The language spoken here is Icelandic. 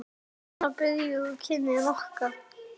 Jóru saga